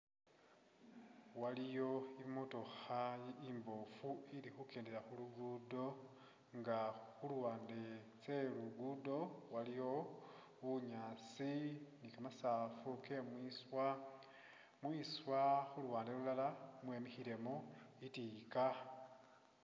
Iliyo imotokha imboofu nga ili khukendela khu'luguddo nga khuluwande khwetsinguddo iliyo bunyaasi, kamasafu kemwiswa nga mwiswa luwande lulala mwemikhilemo tsitika